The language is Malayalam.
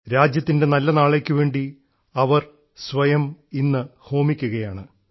രാജ്യത്തിൻറെ നല്ല നാളേക്കുവേണ്ടി അവർ സ്വയം ഇന്ന് ഹോമിക്കുകയാണ്